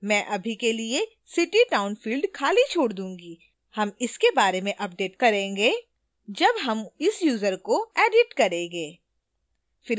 मैं अभी के लिए city/town field खाली छोड दूंगी हम इसे बाद में अपडेट करेंगे जब हम इस यूजर को edit करेंगे